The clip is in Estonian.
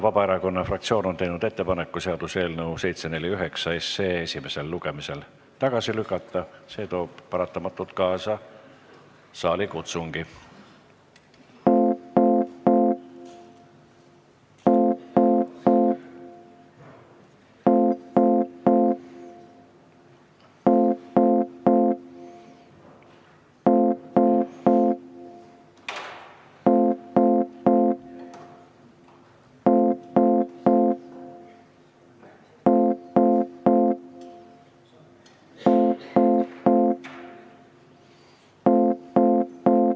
Vabaerakonna fraktsioon on teinud ettepaneku seaduseelnõu 749 esimesel lugemisel tagasi lükata ja see toob paratamatult kaasa saali kutsungi.